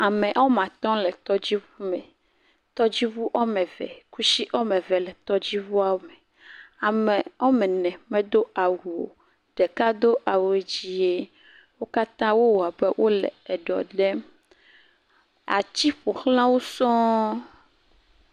Ame wɔme atɔ̃ le tɔdziŋu me. Ttɔdziŋu wɔme ve. Kusi wɔme ve le tɔdziŋuawo me. Ame wɔme ne medo awu o. Ɖeka do awu dzie. Wo katã wowɔ abe wole eɖɔ ɖem. Atsi ƒo xla wo sɔŋ.